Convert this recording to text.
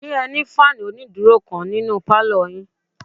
Ṣé ẹ ní fáànù onídúró kan ní pálọ̀ yín?